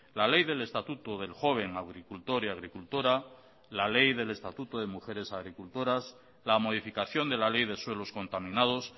la ley del estatuto del joven agricultor y agricultora la ley del estatuto de mujeres agricultoras la modificación de la ley de suelos contaminados